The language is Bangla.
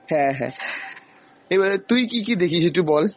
হ্যাঁ হ্যাঁ, এবারে তুই কী কী দেখিস একটু বল।